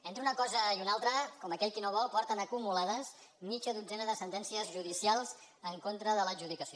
entre una cosa i una altra com aquell qui no ho vol porten acumulades mitja dotzena de sentències judicials en contra de l’adjudicació